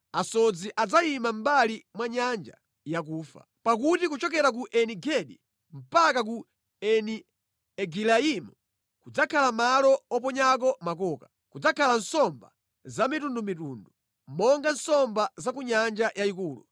Asodzi adzayima mʼmbali mwa Nyanja Yakufa. Pakuti kuchokera ku Eni-Gedi mpaka ku Eni Egilaimu kudzakhala malo oponyako makoka. Kudzakhala nsomba zamitundumitundu, monga nsomba za ku Nyanja Yayikulu.